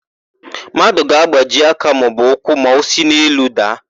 Mmadụ ga-agbaji aka maọbụ ụkwụ ma o si n'elu daa.